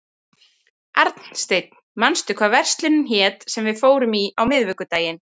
Arnsteinn, manstu hvað verslunin hét sem við fórum í á miðvikudaginn?